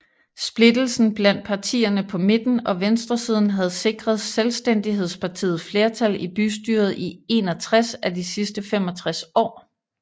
Splittelsen blandt partiene på midten og venstresiden havde sikret Selvstændighedspartiet flertal i bystyret i 61 af de sidste 65 år